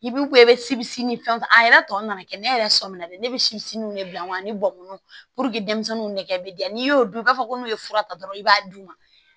I b'u ko i bɛ sibi ni fɛn a yɛrɛ tɔ nana kɛ ne yɛrɛ sɔmi na de ne bɛ si minnu de bila wa ani bɔn denmisɛnninw nɛgɛ bɛ diya n'i y'o dun i b'a fɔ ko n'u ye fura ta dɔrɔn i b'a d'u ma